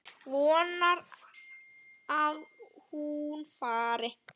Vonar að hún fari.